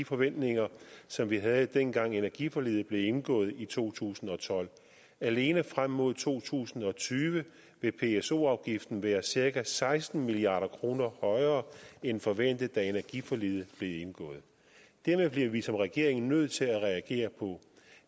forventninger som vi havde dengang energiforliget blev indgået i to tusind og tolv alene frem mod to tusind og tyve vil pso afgiften være cirka seksten milliard kroner højere end forventet da energiforliget blev indgået dette bliver vi som regering nødt til at reagere på